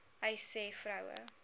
uys sê vroue